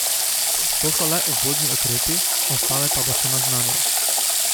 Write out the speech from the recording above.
To so le uvodni ukrepi, ostale pa bo še naznanil.